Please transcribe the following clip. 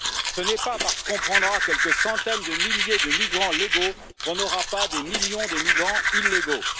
Ce n'est pas parce qu'on prendra quelques centaines de milliers de migrants légaux qu'on n'aura pas des millions de migrants illégaux.